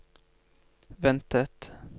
ventet